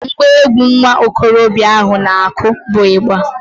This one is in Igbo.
Ngwa egwu nwa okorobịa ahụ na-akụ bụ ịgba